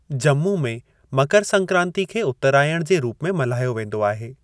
जम्मू में मकर संक्रांति खे 'उत्‍तरायण' जे रूप में मल्हायो वेंदो आहे।